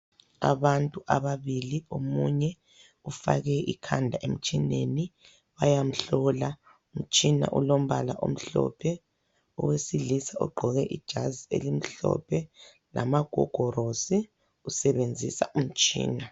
Abantu ababili omunye ufake ikhanda emtshineni, bayamhlola. Umtshina ulombala omhlophe. Owesilisa ugqoke ijazi elimhlophe lamagogorosi usebenzisa umtshina.